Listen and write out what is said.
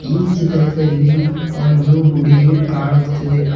ಈ ಚಿತ್ರದಲ್ಲಿ ಒಂದು ಗುಡಿಯು ಕಾಣುತ್ತಿದೆ ಆ--